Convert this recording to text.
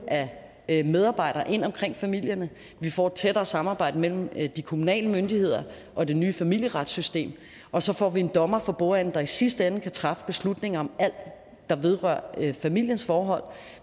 af medarbejdere ind omkring familierne vi får et tættere samarbejde mellem de kommunale myndigheder og det nye familieretssystem og så får vi en dommer for bordenden der i sidste ende kan træffe beslutning om alt der vedrører familiens forhold